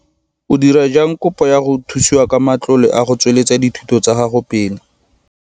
O dira jang kopo ya go thusiwa ka matlole a go tsweletsa dithuto tsa gago pele?